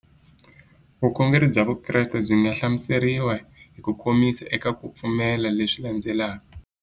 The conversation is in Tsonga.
Vukhongeri bya Vukreste byi nga hlamuseriwa hi kukomisa eka ku pfumela leswi landzelaka.